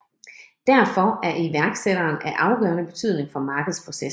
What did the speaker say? Derfor er iværksætteren af afgørende betydning for markedsprocessen